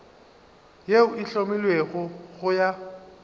yeo e hlomilwego go ya